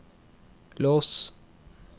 lås